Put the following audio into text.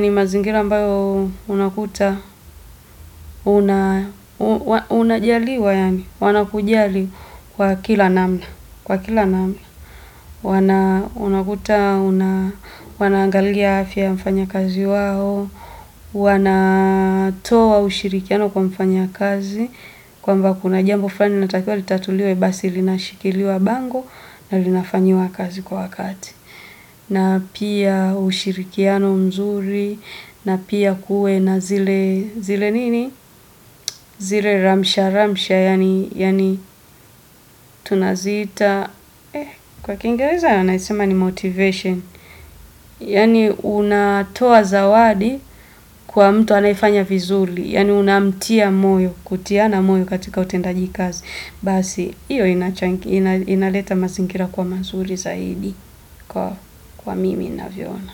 ni mazingira ambayo unakuta, unajaaliwa yani, wanakujali kwa kila namna. Kwa kila, wanangalia afya ya mfanya kazi wao, wanatoa ushirikiano kwa mfanya kazi, kwamba kuna jambo fulani linatakiwa litatuliwe basi linashikiliwa bango na linafanyiwa kazi kwa wakati. Na pia ushirikiano mzuri, na pia kuwe na zile, zile nini? Zile ramsha ramsha, yaani tunaziita, kwa kingereza naisema ni motivation. Yaani unatoa zawadi kwa mtu anayefanya vizuri, yaani unamtia moyo, kutiana moyo katika utendaji kazi. Basi, iyo inaleta mazingira kuwa mazuri zaidi, kwa mimi navyoona.